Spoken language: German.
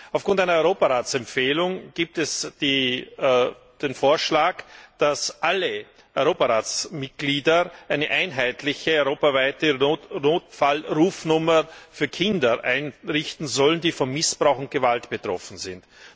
Aufgrund einer Europaratsempfehlung gibt es den Vorschlag, dass alle Europaratsmitglieder eine einheitliche europaweite Notfallrufnummer für Kinder einrichten sollen, die von Missbrauch und Gewalt betroffen sind.